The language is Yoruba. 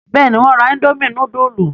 Bẹ́ẹ̀ni, wọ́n ra indomie núdúlù.